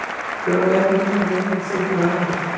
Porque eu não lembro de ninguém, não sei de nada.